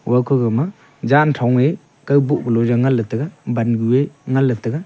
wa kaubowma jan tho aa kow bou lu ngan taiga bangu ngan taiga.